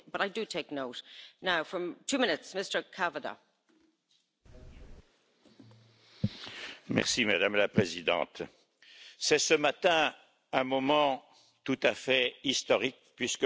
Madame la Présidente, c'est ce matin un moment tout à fait historique puisque, pour la première fois sur un continent, une assemblée parlementaire tente de rééquilibrer